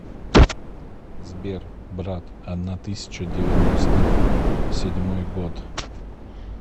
сбер брат одна тысяча девяносто седьмой год